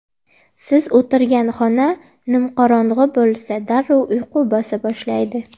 Siz o‘tirgan xona nimqorong‘i bo‘lsa, darrov uyqu bosa boshlaydi.